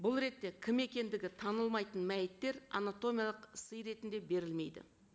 бұл ретте кім екендігі танылмайтын мәйіттер анатомиялық сый ретінде берілмейді